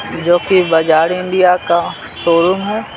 जोकि बाजार इंडिया का शोरूम है।